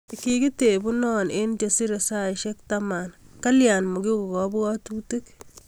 Kikitebuno eng chesire saishek taman, kalya makigon kabwatutik